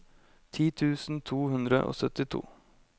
ti tusen to hundre og syttito